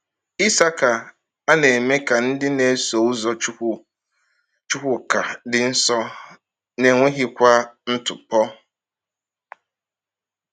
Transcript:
Ịsacha a na-eme ka ndị na-eso ụzọ Chukwuka “dị nsọ, n’enweghịkwa ntụpọ.”